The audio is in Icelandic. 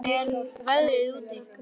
Torfhildur, hvernig er veðrið úti?